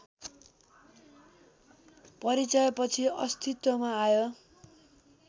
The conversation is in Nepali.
परिचयपछि अस्तित्वमा आयो